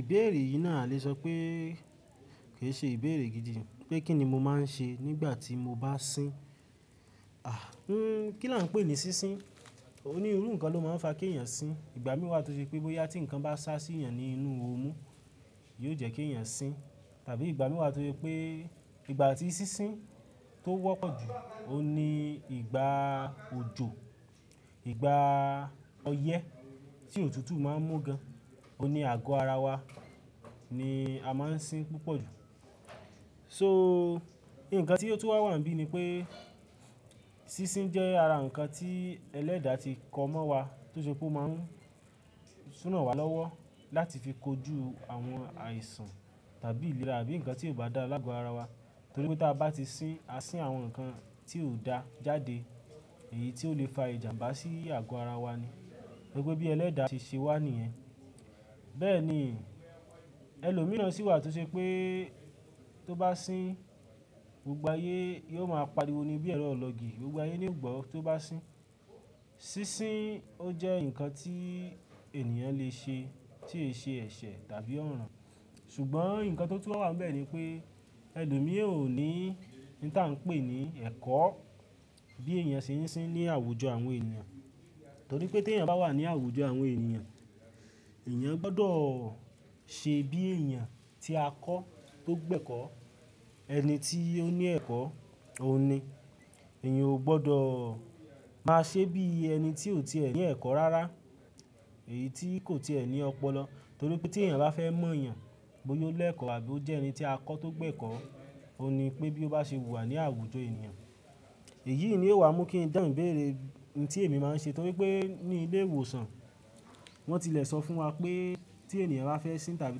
Ìbéèrè yìí náà a le sọ pé kì í ṣe ìbéèrè gidi pé kí ni mo máa ń ṣe nígbà tí mo bá sín. Kí là ń pè é ní sín sín? Òní irú nǹkan ló máa ń fa kí èèyàn sín. Ìgbà mìíràn tó ṣe pé bóyá tí nǹkan bá sá sí èèyàn ní inú ọmú, yóò jẹ́ kí èèyàn sín. Tàbí ìgbà mìíràn tó jẹ́ pé ìgbà tí sísín tó wọ́pọ̀ jù, òní ìgbà òjò, ìgbà ọyẹ́ tí òtútù máa ń mú gan, òní àgọ́ ara wa ni a máa ń sín púpọ̀ jù. So, nkàn tí ó tú wá wà níbí ni pé sísín jẹ́ ara nǹkan tí ẹlẹ́dà ti kọ mọ́ wa tó ṣe pé ó máa ń ranwá lọ́wọ́ láti fi kojú àwọn àìsàn tàbí ìlera àbí nǹkan tí kò bá dáa láàgò ara wa. Torí pé tí a bá ti sín, a sín àwọn nǹkan tí kò dá jáde èyí tí ó le fa ìjàmbá sí àgọ́ ara wa ni. Gẹ́gẹ́ bí ẹlẹ́dà ṣe ṣẹ wá nìyẹn. Bẹ́ẹ̀ ni ẹlòmíràn sì wà tó ṣe pé tó bá sín gbogbo ayé yóò máa pariwo ní bí ẹ̀rọ ilọ́gi, gbogbo ayé ni ó gbọ́ tó bá sín. Sísín ó jẹ́ nǹkan tí ènìyàn le ṣe tí í ṣe ẹ̀ṣẹ̀ tàbí ọ̀ràn. Ṣùgbọ́n nǹkan tó tú wá wà níbẹ̀ ni pé ẹlòmíràn ò ní oun tí à ń pè ní ẹ̀kọ́ bí èèyàn ṣe ń sín ní àwùjọ àwọn ènìyàn. Torí pé tí èèyàn bá wà ní àwùjọ àwọn ènìyàn, èèyàn gbọdọ̀ ṣe bí èèyàn tí a kọ tó gbẹ́kọ́, ẹni tí ó ní ẹ̀kọ́, òun ní. Èèyàn ò gbọdọ̀ máa ṣe bí ẹni tí ò tí è ní ẹ̀kọ́ rárá, èyí tí kò tí è ní ọpọlọ. Torí pé tí èèyàn bá fẹ́ mọ̀ èèyàn bóyá ó lẹ̀kọ̀ àbí ó jẹ́ ẹni tí a kọ tó gbẹ́kọ́, òní pé bí ó bá ṣe wù wá ní àwùjọ ènìyàn. Èyí ni ó wá mú kí n dán bèrè nǹkan tí èmi máa ń ṣe torí pé ní ilé ìwòsàn wọ́n tilẹ̀ sọ fún wa pé tí èèyàn bá fẹ́ sín tàbí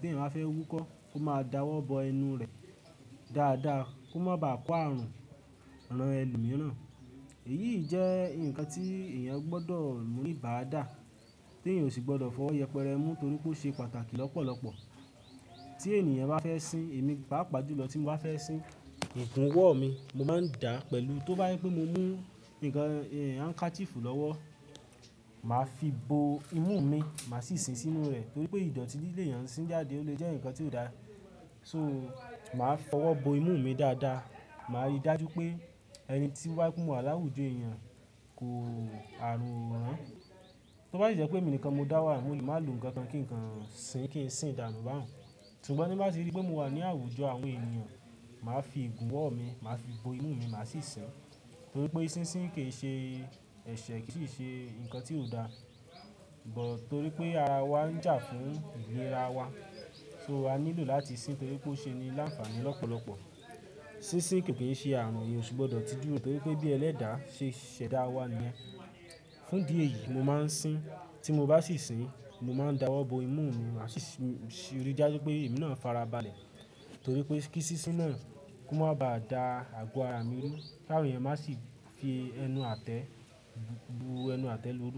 tí èèyàn bá fẹ́ wúkọ́ kó máa dawọ́ bọ ẹnu rẹ̀ dáadáa kó má ba à kó ààrùn ran ẹlòmíràn. Èyí jẹ́ nǹkan tí èèyàn gbọdọ̀ ni ìbàdà tí èèyàn ò sì gbọdọ̀ fọwọ́ yẹpẹrẹ mú torí pé ó ṣe pàtàkì lọ́pọ̀lọpọ̀. Tí èèyàn bá fẹ́ sín, èmi pàápàá ju lọ tí mo bá fẹ́ sín, ìgúnwọ̀ mi mo máa ń dá pẹ̀lú. Tó bá ye pé mo mú nǹkan handkerchief lọ́wọ́, màá fi bo imú mi, màá sì sín sínú rẹ̀ torí pé ìdọ̀tí le èèyàn sín jáde ó lè jẹ́ nǹkan tí ò dá. So, màá fọwọ́ bo imú mi dáadáa. Màá rí dájú pé ẹni tí wá kú mú wà láwùjọ èèyàn kò àrun o rán. Tó bá sí jẹ́ pé èmi nìkan mo dá wà níbẹ̀, mo lè máa lo nnkan kí nǹkan sín kí n sì dànu báun. Ṣùgbọ́n bí màá ti rí pé mo wà ní àwùjọ àwọn ènìyàn, màá fi ìgúnwọ̀ mi, màá fi bo imú mi, màá sì sín torí pé sínsín kì í ṣe ẹ̀ṣẹ̀ kì í sì ṣe nǹkan tí ò dá. Ṣùgbọ́n torí pé ara wa ń jà fún ìlera wa, so a nílò láti sín torí pé ó ṣe ni láǹfààní lọ́pọ̀lọpọ̀. Sísín kì í ṣe ààrun èèyàn ò sì gbọdọ̀ ti dúró torí pé bí ẹlẹ́dà ṣe ṣẹ̀dá wa nìyẹn. Fún di èyí, mo máa ń sín. Tí mo bá sì sín, mo máa ń dawọ́ bọ imú mi, màá sì rí dájú pé èémí náà fara balẹ̀ torí pé kí sísín náà kó má ba à da àgọ́ ara mi rú kí àwọn èèyàn má sì fi ẹnu àtẹ́, bu ẹnu àtẹ́ lorú.